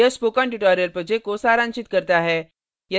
यह spoken tutorial project को सारांशित करता है